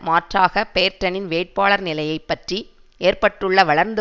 மாற்றாக பேர்ட்டனின் வேட்பாளர் நிலையை பற்றி ஏற்பட்டுள்ள வளர்ந்து